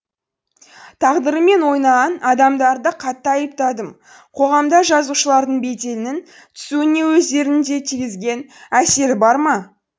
тағдырыммен ойнаған адамдарды қатты айыптадым қоғамда жазушылардың беделінің түсуіне өздерінің де тигізген әсері бар ма